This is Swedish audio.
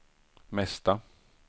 mesta